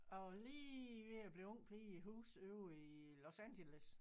Jeg var lige ved at blive ung pige i et hus ovre i Los Angeles